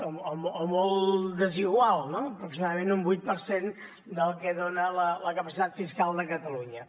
o molt desigual no aproximadament un vuit per cent del que dona la capacitat fiscal de catalunya